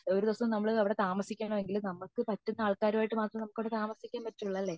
ഒരു ദിവസം നമ്മൾ അവിടെ താമസിക്കണമെങ്കിൽ നമുക് പറ്റുന്ന ആൾകാർ ആയിട്ടു മാത്രമേ നമുക് അവിടെ താമസിക്കാൻ പറ്റുള്ളൂ അല്ലെ